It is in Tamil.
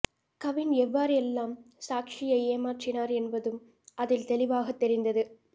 கவின் எவ்வாறு எல்லாம் சாக்ஷியை ஏமாற்றினார் என்பதும் அதில் தெளிவாகத் தெரிந்தது